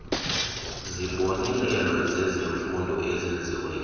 zibonelelo zezemfundo ezenziweyo